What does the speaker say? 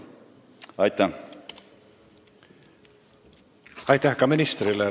Aitäh ministrile!